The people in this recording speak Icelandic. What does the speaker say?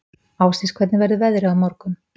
Ásdís, hvernig verður veðrið á morgun?